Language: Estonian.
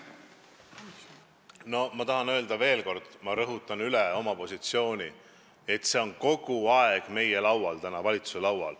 Ma tahan öelda veel kord, ma rõhutan seda oma positsioonilt, et see küsimus on praegu kogu aeg valitsuse laual.